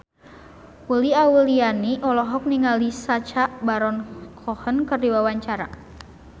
Uli Auliani olohok ningali Sacha Baron Cohen keur diwawancara